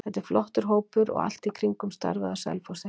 Þetta er flottur hópur og allt í kringum starfið á Selfossi.